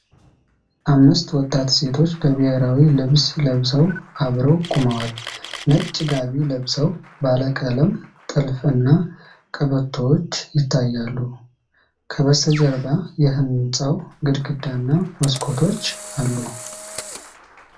አምስት ወጣት ሴቶች በብሔራዊ ልብስ ለብሰው አብረው ቆመዋል። ነጭ ጋቢ ለብሰው፣ ባለቀለም ጥልፍ እና ቀበቶዎች ይታያሉ። ከበስተጀርባ የህንጻው ግድግዳ እና መስኮቶች አሉ።